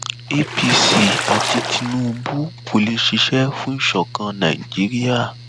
apc àti tinubu kò lè ṣiṣẹ fún ìṣọkan nàìjíríà